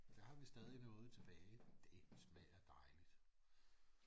Der har vi stadig noget tilbage det smager dejligt